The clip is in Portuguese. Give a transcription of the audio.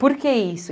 Por que isso?